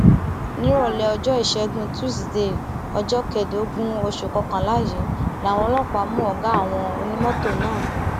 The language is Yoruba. nírọlẹ ọjọ ìṣẹgun tusidee ọjọ kẹẹẹdógún oṣù kọkànlá yìí làwọn ọlọpàá mú ọgá àwọn onímọtò náà